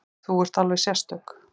Þú ert alveg sérstök.